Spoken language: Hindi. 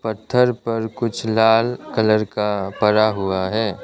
पत्थर पर कुछ लाल कलर का परा हुआ है।